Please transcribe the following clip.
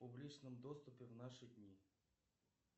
в публичном доступе в наши дни